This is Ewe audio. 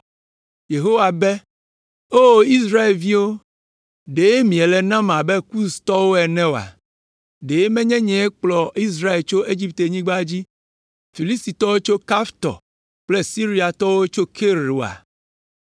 Yehowa be, “O Israelviwo, ɖe miele nam abe Kustɔwo ene oa? Ɖe menye nyee kplɔ Israel tso Egiptenyigba dzi, Filistitɔwo tso Kaftor kple Siriatɔwo tso Kir oa?”